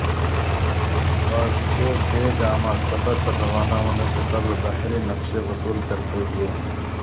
Vasco da Gama سفر پر روانہ ہونے سے قبل بحری نقشے وصول کرتے ہوئے